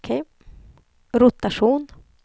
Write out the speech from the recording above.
rotation